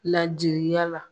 Ladiliya la